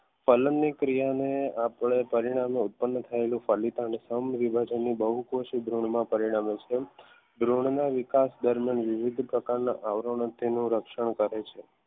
ફલંગની ક્રિયાને આપણે પરિણામે ઉત્પન્ન થયેલા પરિણામે છે દ્રોણના વિકાસ દરમિયાન વિવિધ પ્રકારના આવરણો તેનું રક્ષણ કરે છે